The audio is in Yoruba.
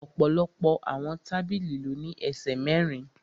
Ọ̀pọ̀lọpọ̀ àwọn tábìlì ló ní ẹsẹ̀ mẹ́rin